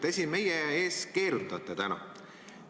Te siin meie ees keerutate täna.